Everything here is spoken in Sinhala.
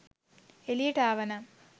එලියට ආවනම්